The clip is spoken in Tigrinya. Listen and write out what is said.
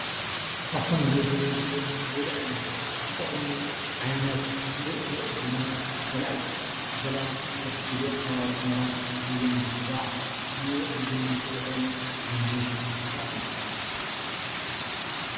ካብቶም ንምግቢነት ንበልዕን ዘጠቅሙ ዓይነት ሙሩፁ ዘርእ ዝኮነ ዓይነት መሸላ አዩ፡፡ መሸላ መብዛሕቱኡ ግዜ ኣብ ሑሞራና ራያን ዝዝራእ ንምግቢነት ዝዉዕል ዓይነት ዝራእት እዩ፡፡